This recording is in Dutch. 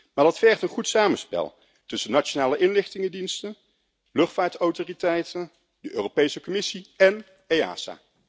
Maar dat vergt een goed samenspel tussen nationale inlichtingendiensten, luchtvaartautoriteiten, de Europese Commissie en EASA.